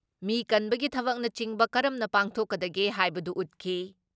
ꯃꯤ ꯀꯟꯕꯒꯤ ꯊꯕꯛꯅꯆꯤꯡꯕ ꯀꯔꯝꯅ ꯄꯥꯡꯊꯣꯛꯀꯗꯒꯦ ꯍꯥꯏꯕꯗꯨ ꯎꯠꯈꯤ ꯫